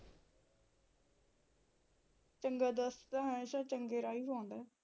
ਚੰਗਾ ਦੋਸਤ ਤਾਂ ਹਮੇਸ਼ਾ ਚੰਗੇ ਰਾਹ ਈ ਪਾਉਂਦਾ ਏ